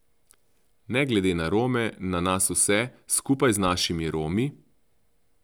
Ne glede na Rome, na nas vse, skupaj z našimi Romi?